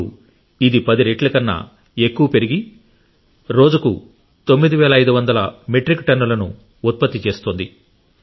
ఇప్పుడు ఇది 10 రెట్ల కన్నా ఎక్కువ పెరిగి రోజుకు 9500 మెట్రిక్ టన్నులను ఉత్పత్తి జరుగుతోంది